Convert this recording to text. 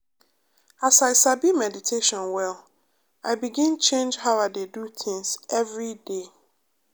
as i sabi meditation well i begin change how i dey do things every day.